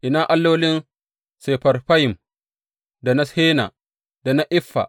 Ina allolin Sefarfayim, da na Hena, da na Iffa?